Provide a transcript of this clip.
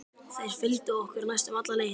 Þeir fylgdu okkur næstum alla leið.